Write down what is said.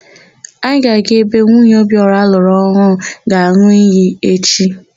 Anyị ga-aga ebe nwunye Obiora lụrụ ọhụụ ga-an̄ụ iyi echi.